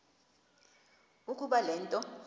ukuba le nto